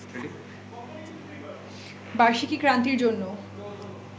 বার্ষিকী ক্রান্তির জন্য